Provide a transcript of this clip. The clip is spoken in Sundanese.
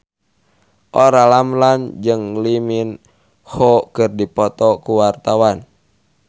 Olla Ramlan jeung Lee Min Ho keur dipoto ku wartawan